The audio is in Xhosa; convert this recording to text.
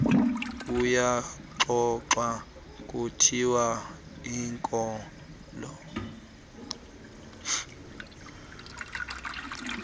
kuyaxoxwa kuthiwa inkolo